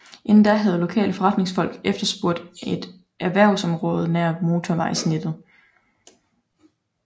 Inden da havde lokale foreretningsfolk efterspurgt et erhvervsområde nær motorvejsnettet